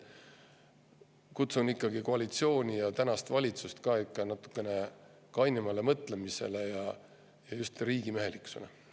Kutsun ikkagi koalitsiooni ja valitsust üles natukene kainemale mõtlemisele ja just riigimehelikkusele.